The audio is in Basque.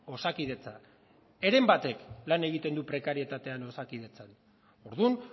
osakidetza heren batek lan egiten du prekarietatean osakidetzan orduan